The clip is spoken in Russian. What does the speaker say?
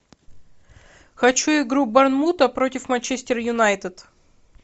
хочу игру борнмута против манчестер юнайтед